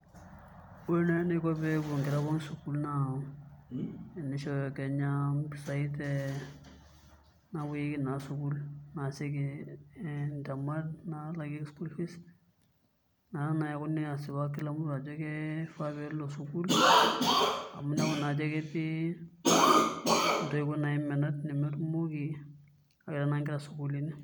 Ore naai enaiko pee epuo nkera pookin sukuul naa tenishooyo Kenya mpisai te naapuoyieki naa sukuul, naalakieki ntemat naalakieki school fees naa ekeekuni asipak ajo kila mtu kifaa pee elo sukuul amu ibala naa ajo ketii ntoiwuo menat nemetumoki aawaita naa nkera isukuulini.